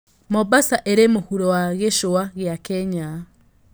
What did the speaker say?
Mombasa ĩrĩ mũhuro wa gicũa gĩa kenya